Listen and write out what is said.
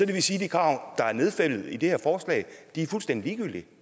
det vil sige at de krav der er nedfældet i det her forslag er fuldstændig ligegyldige